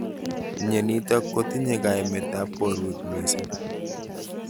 Mnyenitok kotinye kaimet ab borwek missing.